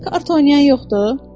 Kart oynayan yoxdur?